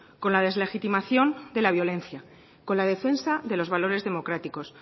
con la deslegitimación de la violencia con la defensa de los valores democráticos